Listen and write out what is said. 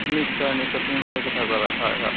নিশ্চয় নিশ্চয় । তুমি ভাল কথা কʼলা । হয় হয় ।